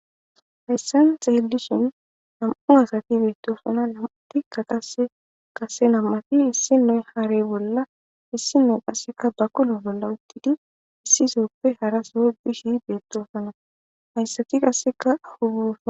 hayssan xeellishin nam7u asati beettosana nam7atika qase qase nam7ati issinnoy hare bolla issinoy qasseka bakulo bolla uttidi issisooppe hara soo bishi beettoosana hayssati qasseka hubusa